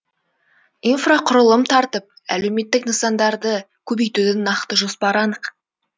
инфрақұрылым тартып әлеуметтік нысандарды көбейтудің нақты жоспары анық